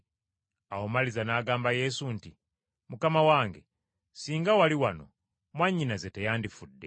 Awo Maliza n’agamba Yesu nti, “Mukama wange, singa wali wano mwannyinaze teyandifudde.